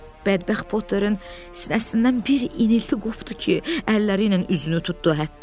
Bədbəxt Potterin sinəsindən bir inilti qopdu ki, əlləri ilə üzünü tutdu.